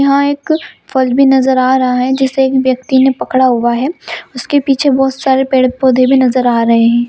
यहां एक फल भी नजर आ रहा रहा है जिसे एक व्यक्ति ने पकड़ा हुआ है उसके पीछे बहुत सारे पेड़-पौधे भी नजर आ रहे है।